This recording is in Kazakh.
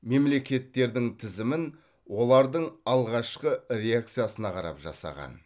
мемлекеттердің тізімін олардың алғашқы реакциясына қарап жасаған